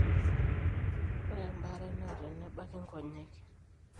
ore ebaare naa tene baki inkonyek